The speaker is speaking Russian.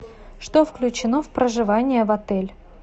что включено в проживание в отель